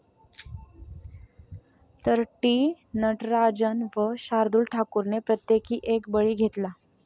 तर, टी. नटराजन व शार्दुल ठाकूरने प्रत्येकी एक बळी घेतला.